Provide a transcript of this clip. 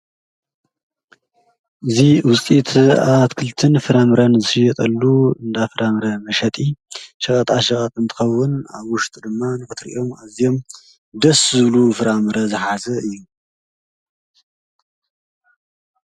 እዙ ውስጢት ኣትክልትን ፍራምረን ዘየጠሉ እንዳፍራምረ መሸጢ ሸቓጥሽቓ ጥንትኸውን ኣብ ውሽት ድማን ፍትርእኦም እዚም ደስዝሉ ፍራምረ ዝኃዘ እዩ::